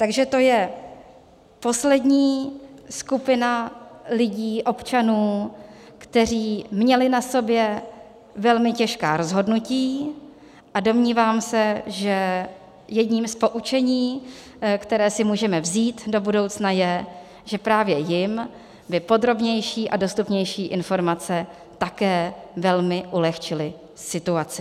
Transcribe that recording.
Takže to je poslední skupina lidí, občanů, kteří měli na sobě velmi těžká rozhodnutí, a domnívám se, že jedním z poučení, které si můžeme vzít do budoucna, je, že právě jim by podrobnější a dostupnější informace také velmi ulehčily situaci.